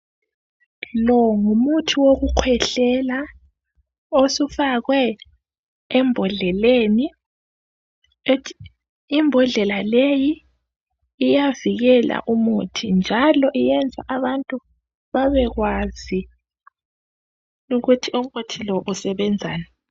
Lo ngumuthi wokukhwehlela osufakwe embhodleleni, imbhodlela leyi iyavikela umuthi njalo iyenza abantu babekwazi ukuthi umuthi lo usebenzani